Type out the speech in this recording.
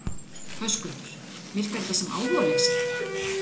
Höskuldur: Virkar þetta sem áhugaleysi?